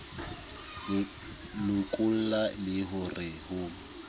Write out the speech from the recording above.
lokolla le ho re ho